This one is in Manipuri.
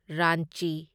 ꯔꯥꯟꯆꯤ